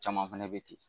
Caman fɛnɛ bɛ ten